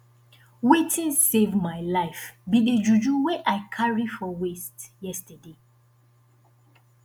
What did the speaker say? wetin save my life be the juju wey i carry for waist yesterday